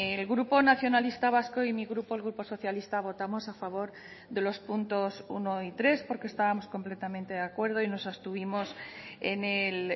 el grupo nacionalista vasco y mi grupo el grupo socialista votamos a favor de los puntos uno y tres porque estábamos completamente de acuerdo y nos abstuvimos en el